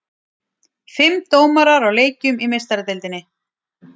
Fimm dómarar á leikjum í Meistaradeildinni